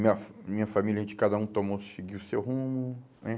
Minha minha família, a gente cada um tomou, seguiu o seu rumo, né?